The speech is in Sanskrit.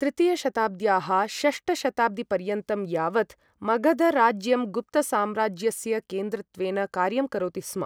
तृतीयशताब्द्याः षष्ठशताब्दिपर्यन्तं यावत् मगधराज्यं गुप्तसाम्राज्यस्य केन्द्रत्वेन कार्यं करोति स्म।